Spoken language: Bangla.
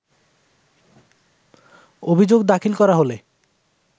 অভিযোগ দাখিল করা হলে